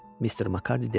Mister Makardiy dedi.